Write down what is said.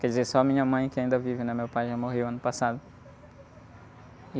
Quer dizer, só a minha mãe que ainda vive, né? Meu pai já morreu ano passado.